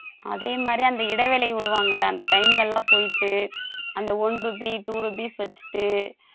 அதே மாதிரி அந்த இடைவெளி விடுவாங்க இல்ல அந்த time ல எல்லாம் போயிட்டு அந்த one rupee two rupees வச்சிட்டு